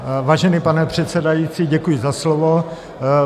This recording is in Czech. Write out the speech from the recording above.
Vážený pane předsedající, děkuji za slovo.